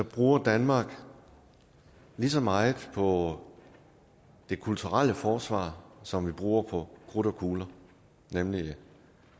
bruger danmark lige så meget på det kulturelle forsvar som vi bruger på krudt og kugler nemlig